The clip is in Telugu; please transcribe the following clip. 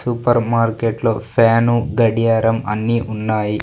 సూపర్ మార్కెట్లో ఫ్యాను గడియారం అన్నీ ఉన్నాయి.